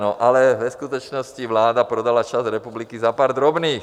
No ale ve skutečnosti vláda prodala část republiky za pár drobných.